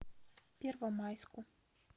первомайску